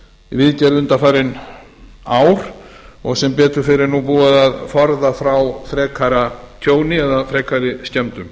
viðgerð undanfarin ár og sem betur fer er nú búið að forða frá frekara tjóni eða frekari skemmdum